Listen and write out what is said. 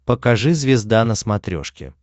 покажи звезда на смотрешке